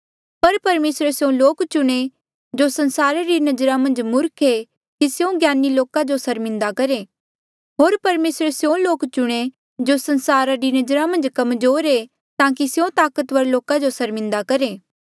पर परमेसरे स्यों लोक चुणे जो संसारा री नजरा मन्झ मूर्ख ऐें कि स्यों ज्ञानी लोका जो सर्मिन्दा करहे होर परमेसरे स्यों लोक चुणे जो संसारा री नजरा मन्झ कमजोर ऐें ताकि स्यों ताकतवर लोका जो सर्मिन्दा करहे